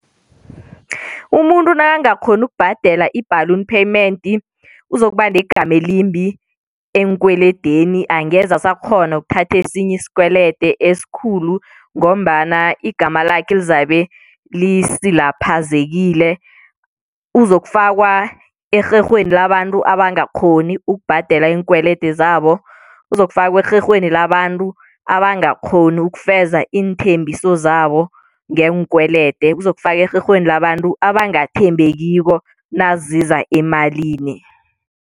Umuntu nakangakghoni ukubhadela i-balloon payment uzokuba negama elimbi eenkweledeni, angeze asakghona ukuthatha esinye isikwelede esikhulu ngombana igama lakhe lizabe lisilaphazekile. Uzokufakwa erherhweni labantu abangakghoni ukubhadela iinkwelede zabo. Uzokufakwa erherhweni labantu abagakghoni ukufeza iinthembiso zabo ngeenkwelede. Uzokufakwa erherhweni labantu abangathembekiko naziza emalini.